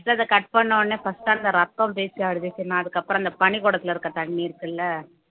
first அத cut பண்ணவுடனே first அந்த ரத்தம் அதுக்கப்புறம் அந்த பனிக்குடத்திலே இருக்கிற தண்ணி இருக்குல்ல